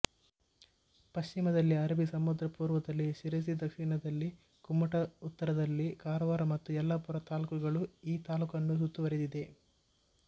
ಪಶ್ಚಿಮದಲ್ಲಿ ಅರಬ್ಬಿ ಸಮುದ್ರ ಪೂರ್ವದಲ್ಲಿ ಶಿರಸಿ ದಕ್ಷಿಣದಲ್ಲಿ ಕುಮಟ ಉತ್ತರದಲ್ಲಿ ಕಾರವಾರ ಮತ್ತು ಯಲ್ಲಾಪುರ ತಾಲ್ಲೂಕುಗಳು ಈ ತಾಲ್ಲೂಕನ್ನು ಸುತ್ತುವರೆದಿವೆ